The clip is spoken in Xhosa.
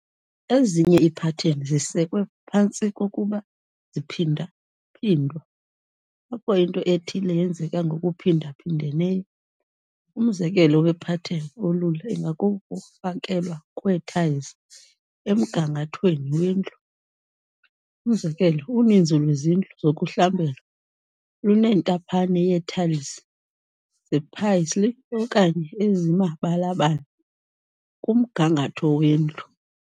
Ezinye iipattern zisekwe phantsi kokuba ziphindwaphindwa, apho into ethile yenzeka ngokuphindaphindeneyo. umzekelo wepartten olula ingakukufakelwa kwee-tiles emgangathweni wendlu. Umzekelo, uninzi lwezindlu zokuhlambela lunentaphane yee-tiles zepaisley okanye ezimabalabala kumgangatho wendlu.